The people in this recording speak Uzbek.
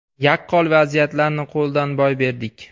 Yaqqol vaziyatlarni qo‘ldan boy berdik.